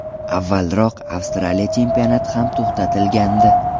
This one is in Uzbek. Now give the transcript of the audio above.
Avvalroq Avstraliya chempionati ham to‘xtatilgandi.